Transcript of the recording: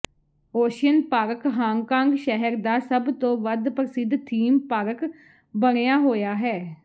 ocean Park Hong Kong ਸ਼ਹਿਰ ਦਾ ਸਭ ਤੋਂ ਵੱਧ ਪ੍ਰਸਿੱਧ ਥੀਮ ਪਾਰਕ ਬਣਿਆ ਹੋਇਆ ਹੈ